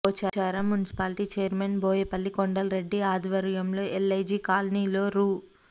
Pocharam municipality chairman Boyapalli Kondal Reddy ఆధ్వర్యంలో LIG కాలనీలో రూ